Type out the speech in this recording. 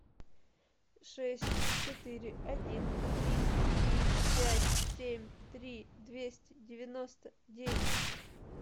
шесть четыре один три три пять семь три двести девяносто девять